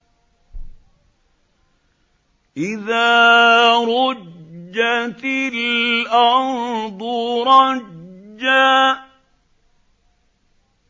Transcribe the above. إِذَا رُجَّتِ الْأَرْضُ رَجًّا